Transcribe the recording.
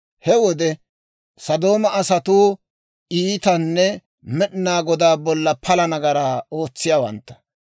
He wode Sodooma asatuu iitanne Med'inaa Godaa bolla pala nagaraa ootsiyaawantta.